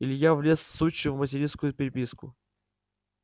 илья влез в сучью материнскую переписку